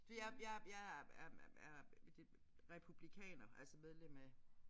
Jeg jeg jeg er er er republikaner altså medlem af